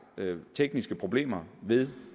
tekniske problemer ved